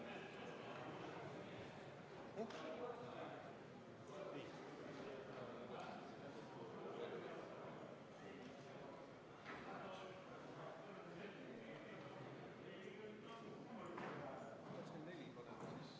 Aitäh!